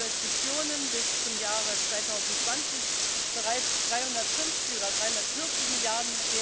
Euro Investitionen bis zum Jahre 2020 bereits 350 oder 340 Mrd.